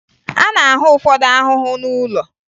A na-ahụ ụfọdụ ahụhụ n'ụlọ